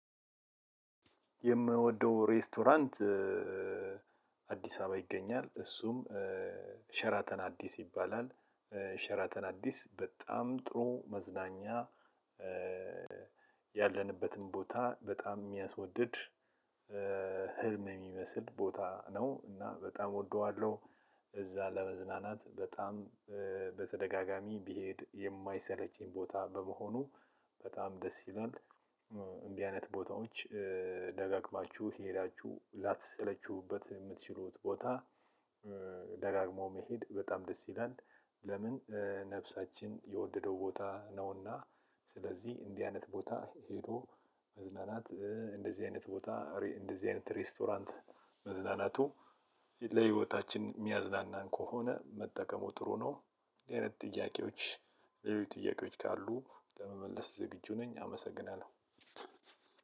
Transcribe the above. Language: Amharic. የምወደው ሬስቶራንት አዲስ አበባ ይገኛል እሱም አዲስ ይባላል ሸራተን አዲስ በጣም ጥሩ መዝናኛ ያለንበትን ቦታ በጣም ሚያስወድድ ህልም የሚመስል ቦታ ነው። እና በጣም እወደዋለው። እዛ ለመዝናናት በጣም በተደጋጋሚ ቢሄድ የማይሰለችኝ ቦታ በመሆኑ በጣም ደስ ይላል። እንዲህ አይነት ቦታዎች ደጋግማችሁ ሄዳቹህ ላተሰለቹበት የምትችሉት ቦታ። ደጋግሞ መሄድ በጣም ደስ ይላል። ለምን ነፍሳችን የወደደው ቦታ ነውና። ስለዚህ እንዲህ አይነት ቦታ ሄዶ መዝናናት እንደዚህ አይነት ቦታ እንደዚህ አይነት ሬስቶራንት መዝናናቱ ለህይወታችን ሚያዝናናን ከሆነ መጠቀሙ ጥሩ ነው። እንዲህ አይነት ጥያቄዎች ሌሎች ጥያቄዎች ካሉ ለመመለስ ዝግጁ ነኝ። አመሰግናለሁ።